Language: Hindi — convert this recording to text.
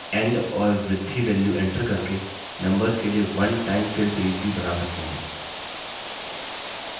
आप start end और बृद्धि values एंटर करके numbers के लिए one time fill series भी बना सकते हैं